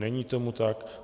Není tomu tak.